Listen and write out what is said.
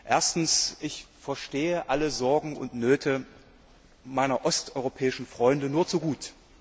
Erstens Ich verstehe alle Sorgen und Nöte meiner osteuropäischen Freunde nur zu gut.